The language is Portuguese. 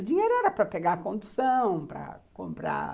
O dinheiro era para pegar a condução, para comprar